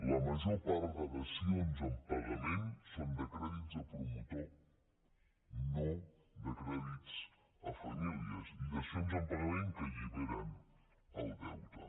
la major part de dacions en pagament són de crèdits a promotor no de crèdits a família i dacions en pagament que alliberen el deute